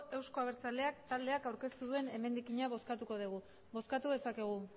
euzko abertzaleak taldeak aurkeztu duen emendakina bozkatuko dugu bozkatu dezakegu